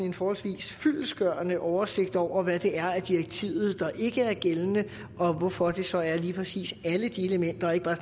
en forholdsvis fyldestgørende oversigt over hvad det er i direktivet der ikke er gældende og hvorfor det så lige præcis er alle de elementer og ikke bare